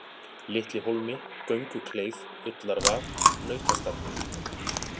Litlihólmi, Göngukleif, Ullarvað, Nautastallur